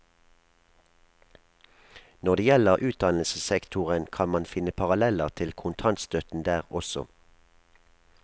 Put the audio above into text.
Når det gjelder utdannelsessektoren, kan man finne paralleller til kontantstøtten der også.